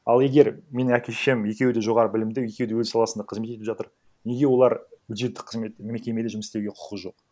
ал егер менің әке шешем екеуі де жоғары білімді екеуі де өз саласында қызмет етіп жатыр неге олар бюджеттік қызмет мекемеде жұмыс істеуге құқы жоқ